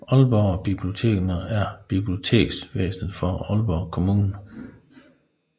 Aalborg Bibliotekerne er biblioteksvæsenet for Aalborg Kommune